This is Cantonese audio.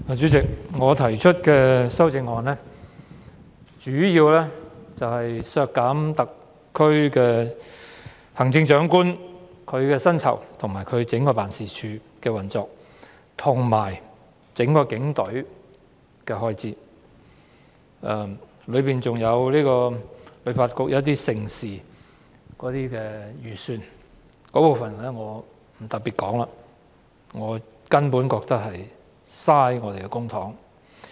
主席，我提出的修正案，主要是削減行政長官的薪酬及其辦公室的運作開支，以及整個警隊的預算開支，當中還包括香港旅遊發展局舉辦的一些盛事的預算開支，但這部分我不特別談論，我覺得根本是浪費公帑。